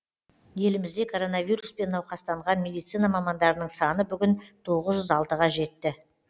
елімізде коронавируспен науқастанған медицина мамандарының саны бүгін тоғыз жүз алтыға жетті